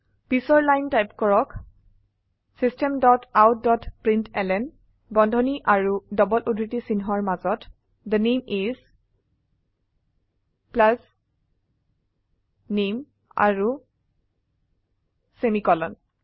পিছৰলাইন type কৰকSystem dot out dot println বন্ধনী আৰু ডবল উদ্ধৃতি চিন্হৰ মাজত থে নামে ইচ নামে আৰু সেমিকোলন